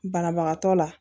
Banabagatɔ la